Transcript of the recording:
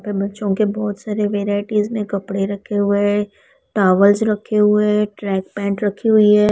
पे बच्चों के बहोत सारे वैराइटीज में कपड़े रखे हुए है टॉवल्स रखे हुए है ट्रैक पैंट रखी हुई है।